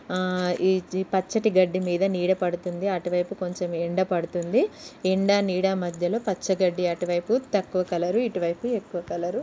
ఆ ఇది పచ్చటి గడ్డి మీద నీడ పడుతుంది అటు వైపు కొంచెం ఎండ పడుతుంది ఎండ నీడ మధ్యలో పచ్చ గడ్డి అటు వైపు తక్కువ కలర్ ఇటు వైపు ఎక్కువ కలర్ --